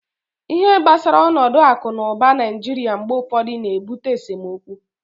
ihe gbasara onodu aku na uba naijiria mgbe ufodu na-ebute esemokwu